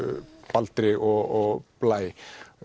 Baldri og Blæ